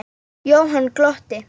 Jóhann glotti.